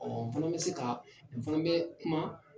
n fana bɛ se ka, n fana bɛ kuma